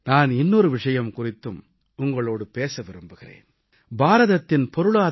நாட்டுமக்களே நான் இன்னொரு விஷயம் குறித்தும் உங்களோடு பேச விரும்புகிறேன்